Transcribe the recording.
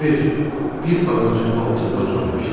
Kiver bir ağacın altında uzanmışdı.